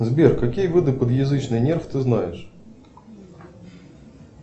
сбер какие виды подъязычный нерв ты знаешь